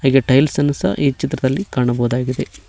ಹೀಗೆ ಟೈಲ್ಸ್ ಅನ್ನು ಸಹ ಈ ಚಿತ್ರದಲ್ಲಿ ಕಾಣಬಹುದಾಗಿದೆ.